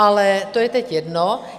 Ale to je teď jedno.